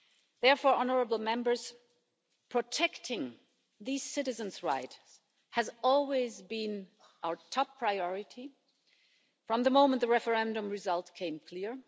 Therefore, protecting these citizens' rights has always been our top priority from the moment the referendum result became clear.